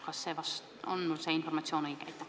Kas see informatsioon on õige?